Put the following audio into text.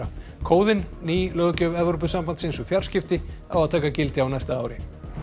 kóðinn ný löggjöf Evrópusambandsins um fjarskipti á að taka gildi á næsta ári